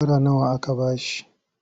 Shekara nawa aka ba shi?